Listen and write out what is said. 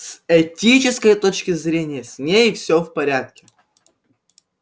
с этической точки зрения с ней все в порядке